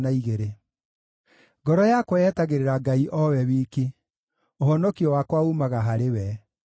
Ngoro yakwa yetagĩrĩra Ngai o we wiki; ũhonokio wakwa uumaga harĩ we.